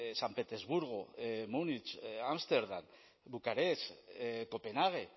san petersburgo múnich ámsterdam bucarest copenhague